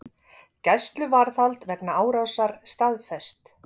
Gæsluvarðhald vegna árásar staðfest